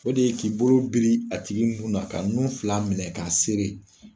O de ye k'i bolo biri a tigi nun na ka nun fila minɛ k'a